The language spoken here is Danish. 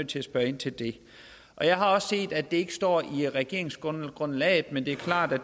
til at spørge ind til det jeg har set at det ikke står i regeringsgrundlaget men det er klart at